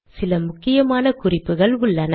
சில முக்கியமான குறிப்புகள் உள்ளன